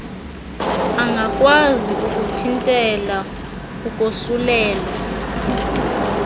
angakwazi ukuthintela ukosulelwa